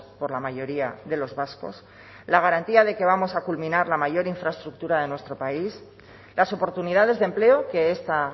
por la mayoría de los vascos la garantía de que vamos a culminar la mayor infraestructura en nuestro país las oportunidades de empleo que esta